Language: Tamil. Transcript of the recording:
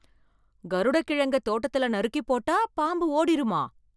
கருடக் கிழங்க தோட்டத்துல நறுக்கி போட்டா பாம்பு ஓடிருமா?